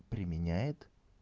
применяет